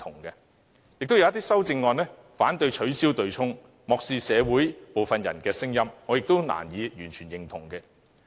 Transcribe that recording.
亦有一些修正案反對取消對沖機制，漠視社會部分人的聲音，我亦難以完全認同。